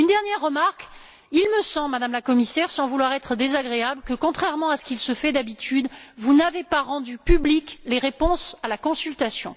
Une dernière remarque il me semble, Madame la Commissaire, sans vouloir être désagréable, que, contrairement à ce qui se fait d'habitude, vous n'avez pas rendu publiques les réponses à la consultation.